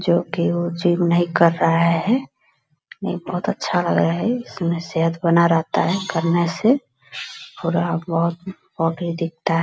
जो की वो जिम नहीं कर रहा है नहीं बहुत अच्छा लग रहा है इसमें सेहत बना रहता है करने से दिखता है।